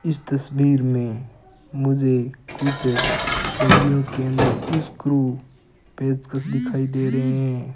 इस तस्वीर में मुझे कुछ डिब्बियों के अंदर स्क्रू पेंचकस दिखाई दे रहे हैं।